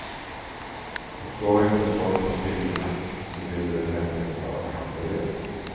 Och går inte folk på filmerna, så vill de väl hellre ha hamburgare.